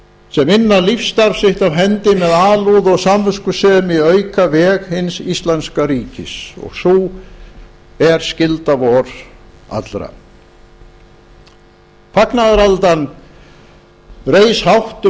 sem inna lífsstarf sitt af hendi með alúð og samviskusemi auka veg hins íslenska ríkis og sú er skylda vor allra fagnaðaraldan reis hátt um